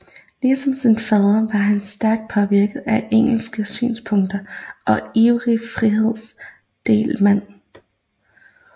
Ligesom sin fader var han stærkt påvirket af engelske synspunkter og ivrig frihandelsmand